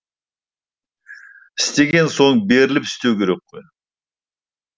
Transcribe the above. істеген соң беріліп істеу керек қой